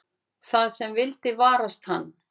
Það sem vildi varast hann.